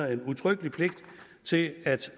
er en udtrykkelig pligt til at